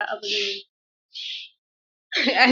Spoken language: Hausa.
A'a, ba za a yi bori a gidanmu ba.